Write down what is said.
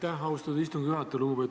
Aitäh, austatud istungi juhataja!